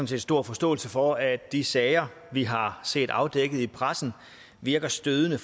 set stor forståelse for at de sager vi har set afdækket i pressen virker stødende